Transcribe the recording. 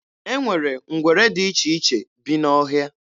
E nwere ngwere dị iche iche bi n'ọhịa.